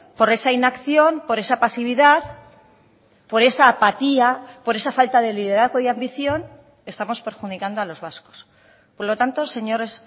por esa inacción por esa pasividad por esa apatía por esa falta de liderazgo y ambición estamos perjudicando a los vascos por lo tanto señores